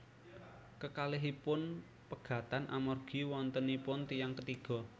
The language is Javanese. Kekalihipun pegatan amargi wontenipun tiyang ketiga